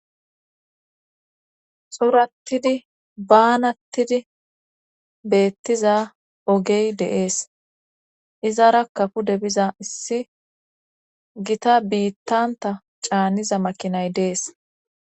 xurattidi baanattidi beettiza ogey deees izara kapu debiza issi gita biittanta caaniza makinay dees